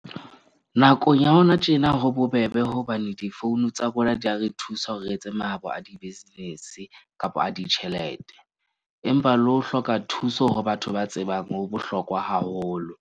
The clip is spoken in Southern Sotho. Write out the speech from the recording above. Nakong ya hona tjena, ho bobebe hobane di-phone tsa rona di a re thusa hore re etse mahabo a di-business-e kapa a ditjhelete. Empa le ho hloka thuso ho batho ba tsebang ho bohlokwa haholo.